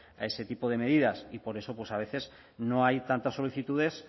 a ese tipo de medidas y por eso pues a veces no hay tantas solicitudes